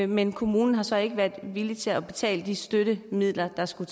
men kommunen har så ikke været villig til at betale de støttemidler der skulle